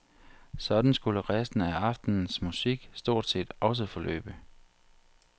Sådan skulle resten af aftenens musik stort set også forløbe.